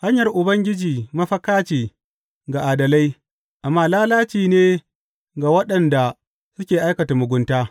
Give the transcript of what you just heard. Hanyar Ubangiji mafaka ce ga adalai amma lalaci ne ga waɗanda suke aikata mugunta.